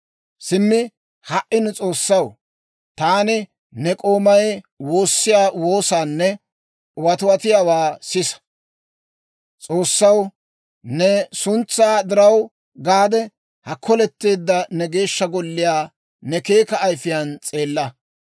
«Simmi ha"i nu S'oossaw, taani ne k'oomay woossiyaa woosaanne watiwatuwaa sisa. S'oossaw, ne suntsaa diraw gaade, ha koletteedda ne Geeshsha Golliyaa ne keeka ayifiyaan s'eella.